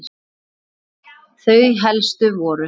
Þau helstu voru